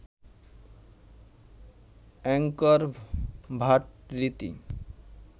Angkor Wat Riti